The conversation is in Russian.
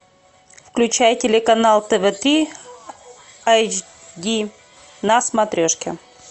включай телеканал тв три айч ди на смотрешке